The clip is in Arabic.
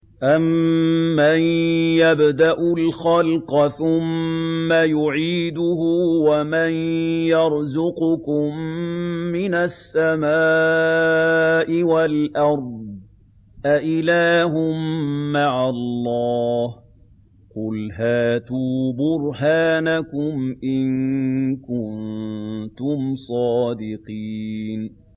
أَمَّن يَبْدَأُ الْخَلْقَ ثُمَّ يُعِيدُهُ وَمَن يَرْزُقُكُم مِّنَ السَّمَاءِ وَالْأَرْضِ ۗ أَإِلَٰهٌ مَّعَ اللَّهِ ۚ قُلْ هَاتُوا بُرْهَانَكُمْ إِن كُنتُمْ صَادِقِينَ